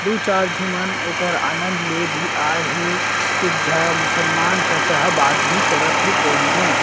दो चार झी मन ओकर आनंद ले भी आये हे एक जा मुस्लमान चाचा ह बात भी करत हे कॉल में--